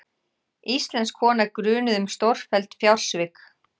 Íslensk kona grunuð um stórfelld fjársvik